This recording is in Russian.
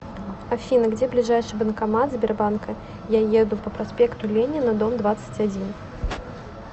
афина где ближайший банкомат сбербанка я еду по проспекту ленина дом двадцать один